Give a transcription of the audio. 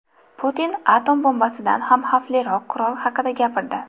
Putin atom bombasidan ham xavfliroq qurol haqida gapirdi.